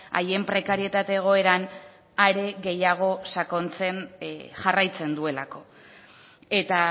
haien prekarietate egoeran are gehiago sakontzen jarraitzen duelako eta